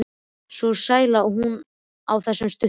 Svo sæl er hún á þessum stundum.